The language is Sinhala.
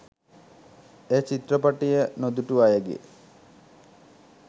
එය චිත්‍රපටය නොදුටු අයගේ